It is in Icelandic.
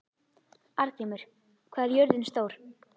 Arngrímur, hvað er jörðin stór?